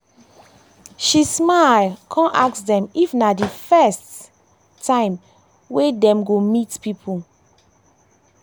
she smile come ask dem if na the first na the first time wey dem go dey meet people